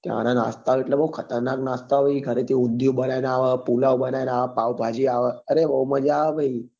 ત્યાં નાં નાસ્તા ભાઈ એટલે બઉ ખતરનાક નાસ્તા આવે ઘરે થી ઉન્ધ્યું બનાવી ને આવે પુલાવ બનાવી ને આવે પાવભાજી આવે અરે બઉ મજા આવે ભાઈ